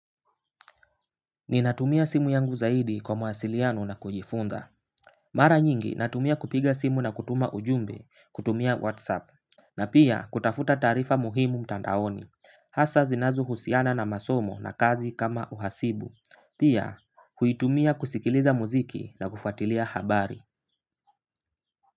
Ninatumia simu yangu zaidi kwa mawasiliano na kujifunza. Mara nyingi natumia kupiga simu na kutuma ujumbe, kutumia whatsapp. Na pia kutafuta taarifa muhimu mtandaoni. Hasa zinazohusiana na masomo na kazi kama uhasibu. Pia uitumia kusikiliza muziki na kufuatilia habari.